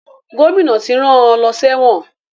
Gómìnà ti rán an lọ sẹ́wọ̀n